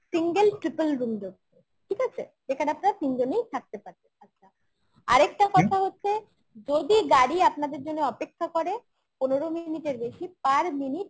single triple room দেবো ঠিক আছে? এখানে আপনারা তিনজনেই থাকতে পারবেন আচ্ছা আরেকটা কথা হচ্ছে যদি গাড়ি আপনাদের জন্য অপেক্ষা করে পনেরো minute এর বেশি per minute